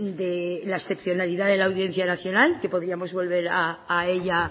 de la excepcionalidad de la audiencia nacional que podíamos volver a ella